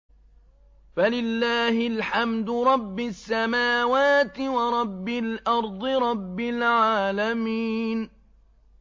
فَلِلَّهِ الْحَمْدُ رَبِّ السَّمَاوَاتِ وَرَبِّ الْأَرْضِ رَبِّ الْعَالَمِينَ